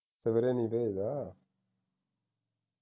ਸਵੇਰੇ ਨਹੀਂ ਭੇਜਦਾ